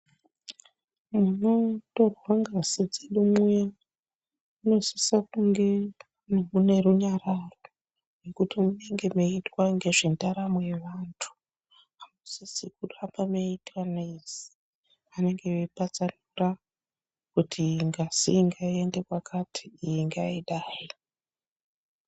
Munotorwa ngazi dzedu mwuya munosisa kunge mune runyararo ngekuti munenge meiitwa ngezvendaramo yevantu, hamusisi kuramba meiita noizi, vanenge veipatsanura kuti ngazi iyi ngaiende kwakati iyi ngaidai.